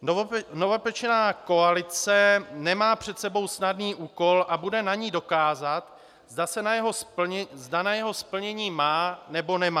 Novopečená koalice nemá před sebou snadný úkol a bude na ní dokázat, zda na jeho splnění má, nebo nemá.